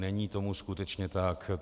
Není tomu skutečně tak.